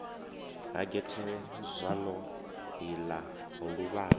ha gethe zwalo ḽa luvhanḓe